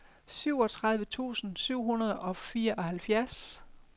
syvogtredive tusind syv hundrede og fireoghalvfjerds